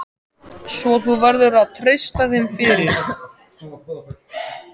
Svo þú verður að treysta þeim fyrir.